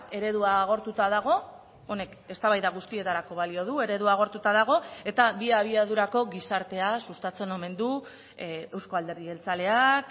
eredua agortuta dago honek eztabaida guztietarako balio du eredua agortuta dago eta bi abiadurako gizartea sustatzen omen du euzko alderdi jeltzaleak